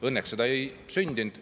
Õnneks seda ei sündinud.